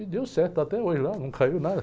E deu certo até hoje, lá não caiu nada.